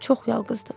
Çox yalqızdım.